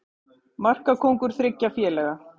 Markakóngur þriggja félaga